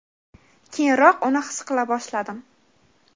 keyinroq uni his qila boshladim.